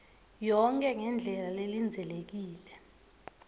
yonkhe ngendlela lelindzelekile